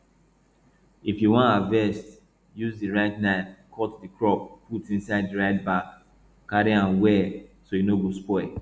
if you wan harvest use di right knife cut di crop put inside di right bag carry am well so e no go spoil